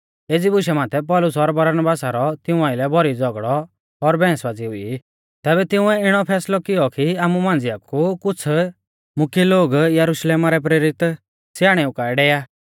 एज़ी बुशा माथै पौलुस और बरनबासा रौ तिऊं आइलै भौरी झ़ौगड़ौ और बैहंसबाज़ी हुई तैबै तिंउऐ इणौ फैसलौ कियौ कि आमु मांझ़िया कु कुछ़ मुख्यै लोग यरुशलेमा रै प्रेरित स्याणेऊ काऐ डेवा